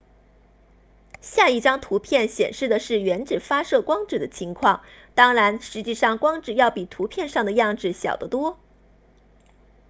下一张图片显示的是原子发射光子的情况当然实际上光子要比图片上的样子小得多